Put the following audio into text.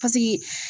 Paseke